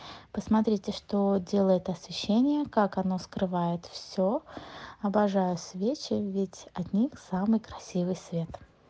посмотрите что делает освещение как оно скрывает все обожаю свечи ведь от них самый красивый свет